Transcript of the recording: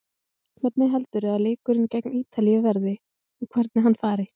Hvernig heldurðu að leikurinn gegn Ítalíu verði og hvernig hann fari?